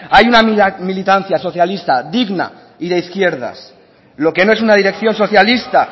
hay una militancia socialista digna y de izquierda lo que no es una dirección socialista